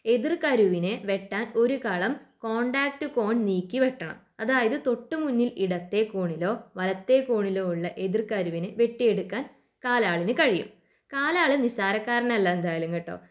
എതിർ കരുവിനെ വെട്ടാൻ ഒരു കളം കോൺടാക്ട് കോൺ നീക്കിവെട്ടണം. അതായത് തൊട്ടുമുന്നിൽ ഇടത്തെ കോണിലോ വലത്തെ കോണിലോ ഉള്ള എതിർ കരുവിനെ വെട്ടിയെടുക്കാൻ കാലാളിന് കഴിയും. കാലാള് നിസ്സാരക്കാരനല്ല എന്തായാലും കേട്ടോ